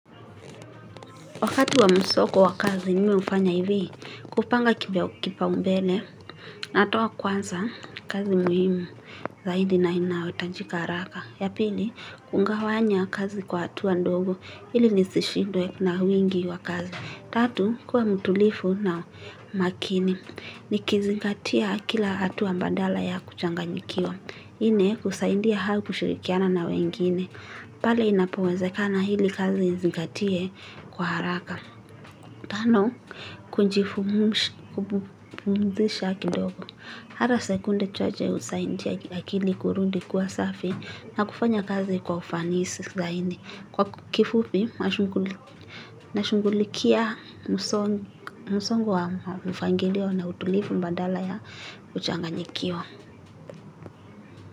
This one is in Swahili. Wakati wa msoko wa kazi mi hufanya hivi. Kupanga kipaumbele, natoa kwanza kazi muhimu zaidi na inayohitajika haraka. Ya pili, kungawanya kazi kwa hatua ndogo ili nisishindwe na wingi wa kazi. Tatu, kuwa mtulifu na makini, nikizingatia kila hatua badala ya kuchanganyikiwa. Inne, kusaidia hau kushirikiana na wengine. Pale inapowezekana hili kazi izingatiwe kwa haraka. Tano, kujifu, pumzisha kidogo. Halo sekunde chache husaidia akili kurudi kuwa safi, na kufanya kazi kwa ufanisi zaidi. Kwa kifupi, nashungulikia msongo wa mfangilio na utulifu badala ya kuchanganyikiwa.